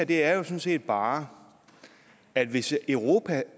det er jo sådan set bare at hvis europa